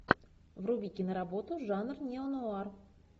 вруби киноработу жанр неонуар